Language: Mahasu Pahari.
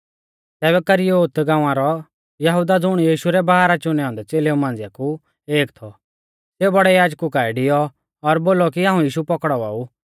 तैबै करियोत गाँवा रौ यहुदा ज़ुण यीशु रै बारह चुनै औन्दै च़ेलेऊ मांझ़िऐ कु एक थौ सेऊ बौड़ै याजकु काऐ डैऔ और बौल़ौ कि हाऊं यीशु पौकड़ावा ऊ